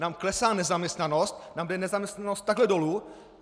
Nám klesá nezaměstnanost, nám jde nezaměstnanost takhle dolu.